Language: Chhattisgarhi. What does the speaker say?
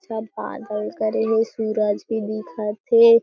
अच्छा बादल करे हे सूरज भी दिखत हे।